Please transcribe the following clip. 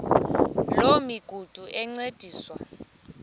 loo migudu encediswa